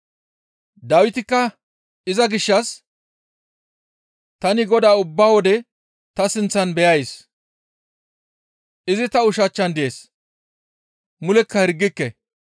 Dawitikka iza gishshas, « ‹Tani Godaa ubba wode ta sinththan beyays; izi ta ushachchan dees; mulekka hirgike.